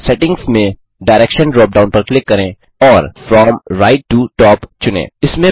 settings में direction drop down पर click करें और फ्रॉम राइट टो टॉप चुनें